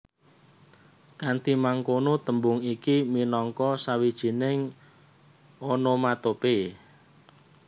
Kanthi mangkono tembung iki minangka sawijining onomatope